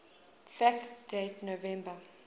fact date november